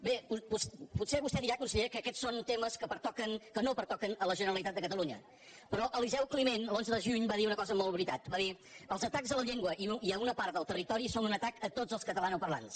bé potser vostè dirà conseller que aquests són temes que no pertoquen a la generalitat de catalunya però eliseu climent l’onze de juny va dir una cosa molt veritable va dir els atacs a la llengua i a una part del territori són un atac a tots els catalanoparlants